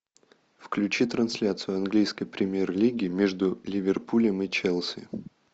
включи трансляцию английской премьер лиги между ливерпулем и челси